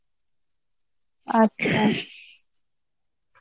আচ্ছা